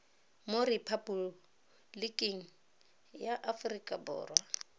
mo rephaboliking ya aforika borwa